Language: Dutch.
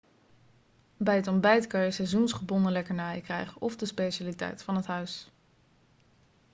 bij het ontbijt kan je seizoensgebonden lekkernijen krijgen of de specialiteit van het huis